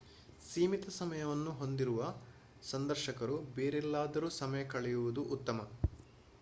ಸೀಮಿತ ಸಮಯವನ್ನು ಹೊಂದಿರುವ ಸಂದರ್ಶಕರು ಬೇರೆಲ್ಲಾದರೂ ಸಮಯ ಕಳೆಯುವುದು ಉತ್ತಮ